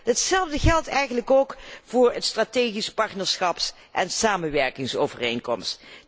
Hetzelfde geldt eigenlijk ook voor de strategische partnerschaps en samenwerkingsovereenkomst.